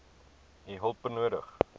u hulp nodig